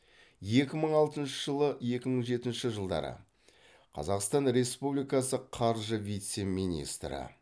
екі мың алтыншы жылы екі мың жетінші жылдары қазақстан республикасы қаржы вице министрі